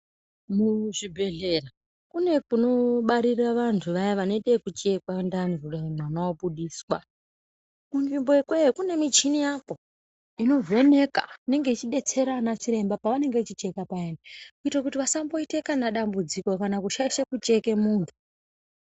Muzvibhedhlera kune kunobarire vanthu vaya vanoite ekuchekwa ndani kudai mwana obudiswa. Kunzvimbo ikweyo kune michini yakwo inovheneka inenge ichidetsera ana chiremba pavanenge vechicheka payani kuite kuti vasamboite kana dambudziko kana kushaisha kucheke munthu.